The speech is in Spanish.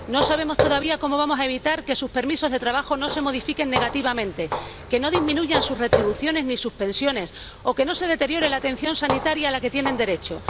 No sabemos todavía cómo vamos a evitar que sus permisos de trabajo no se modifiquen negativamente, que no disminuyan sus retribuciones ni sus pensiones o que no se deteriore la atención sanitaria a la que tienen derecho.